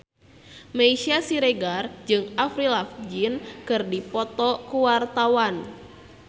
Meisya Siregar jeung Avril Lavigne keur dipoto ku wartawan